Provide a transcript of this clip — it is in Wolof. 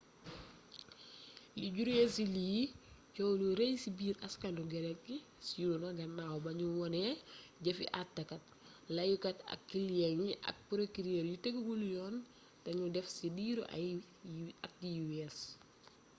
li juree ci lii coow lu rëy ci biir aaskanu grek gi siw na gannaaw ba nu wone jëfi attekat layokat ak kilyeng yi ak prokirër yu teguwul yoon te nu def ci diiru at yi wees